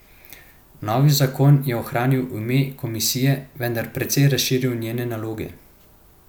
Novi zakon je ohranil ime komisije, vendar precej razširil njene naloge.